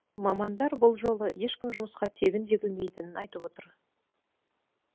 мамандар бұл жолы ешкім жұмысқа тегін жегілмейтінін айтып отыр